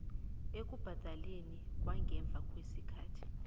ekubhadeleni kwangemva kwesikhathi